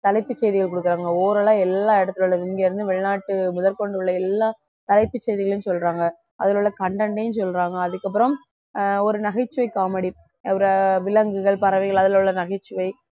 தலைப்புச் செய்திகள் கொடுக்குறாங்க oral ஆ எல்லா இடத்திலே உள்ள இங்கே இருந்து வெளிநாட்டு முதற்கொண்டு உள்ள எல்லா தலைப்புச் செய்திகளும் சொல்றாங்க அதுல உள்ள content யும் சொல்றாங்க அதுக்கப்புறம் ஆஹ் ஒரு நகைச்சுவை comedy ஒரு விலங்குகள் பறவைகள் அதுல உள்ள நகைச்சுவை